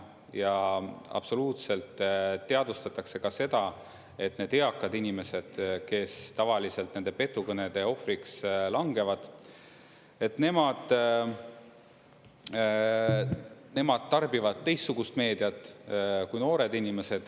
Ja absoluutselt teadvustatakse ka seda, et need eakad inimesed, kes tavaliselt nende petukõnede ohvriks langevad, et nemad tarbivad teistsugust meediat kui noored inimesed.